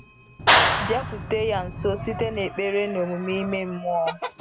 Bịakwute ya nso site n’ekpere na omume ime mmụọ.